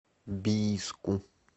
бийску